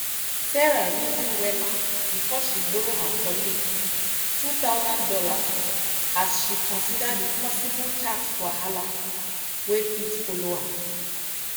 sarah reason wella before she borrow her colleague two thousand dollars as she consider the possible tax wahala wey fit follow am.